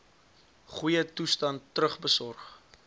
goeie toestand terugbesorg